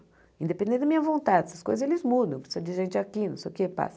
Independente da minha vontade, essas coisas eles mudam, precisa de gente aqui, não sei o que, passa.